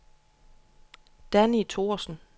Danni Thorsen